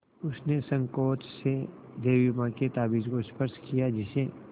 उसने सँकोच से देवी माँ के ताबीज़ को स्पर्श किया जिसे